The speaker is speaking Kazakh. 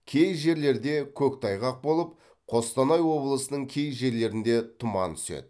кей жерлерде көктайғақ болып қостанай облысының кей жерлерінде тұман түседі